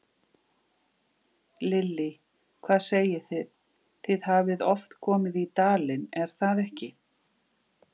Lillý: Hvað segið þið, þið hafið oft komið í dalinn, er það ekki?